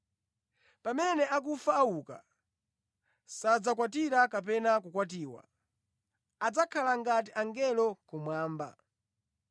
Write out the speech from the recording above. Pamene akufa auka, sadzakwatira kapena kukwatiwa; adzakhala ngati angelo kumwamba.